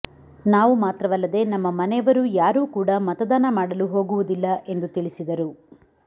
ನಾವು ಮಾತ್ರವಲ್ಲದೆ ನಮ್ಮ ಮನೆಯವರು ಯಾರು ಕೂಡ ಮತದಾನ ಮಾಡಲು ಹೋಗುವುದಿಲ್ಲ ಎಂದು ತಿಳಿಸಿದರು